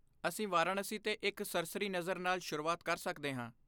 ਅਸੀਂ ਵਾਰਾਣਸੀ 'ਤੇ ਇੱਕ ਸਰਸਰੀ ਨਜ਼ਰ ਨਾਲ ਸ਼ੁਰੂਆਤ ਕਰ ਸਕਦੇ ਹਾਂ।